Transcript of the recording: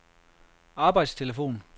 arbejdstelefon